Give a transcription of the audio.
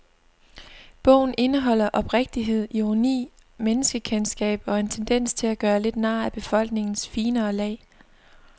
Bogen indeholder oprigtighed, ironi, menneskekendskab og en tendens til at gøre lidt nar af befolkningens finere lag.